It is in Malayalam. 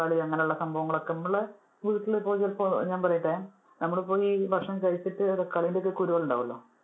തക്കാളി അതുപോലുള്ള സംഭവങ്ങൾ ഒക്കെ നമ്മള് വീട്ടിൽ ഇപ്പൊ ചിലപ്പോ ഞാന്‍ പറയട്ടെ, നമ്മള് പ്പൊ ഈ ഭക്ഷണം കഴിച്ചിട്ട് തക്കാളിടെ ഒക്കെ കുരു ഉണ്ടാകുമല്ലോ,